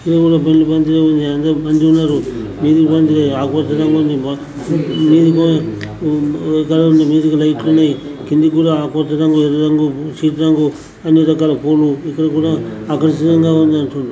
ఈడ కూడా పెళ్ళి మంచిగానే ఉంది అందరు మంచిగున్నారు. నీలిరంగు ఆకుపచ్చ రంగు ఉంది మీదకి లైట్ లు ఉన్నాయి. కిందకి కూడా ఆకుపచ్చ రంగు ఎర్ర రంగు సీత రంగు అన్ని రకాల పూలు ఇక్కడ కూడా ఆకర్షణీయంగా ఉంది అంటారు.